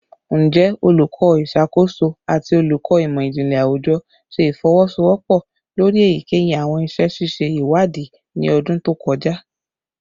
Njẹ Oluko Iṣakoso ati Oluko Imọ-jinlẹ Awujọ ṣe ifowosowopo lori eyikeyi awọn iṣẹ ṣiṣe iwadii ni ọdun to kọja?